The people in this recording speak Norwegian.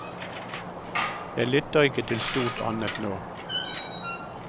Jeg lytter ikke til stort annet nå.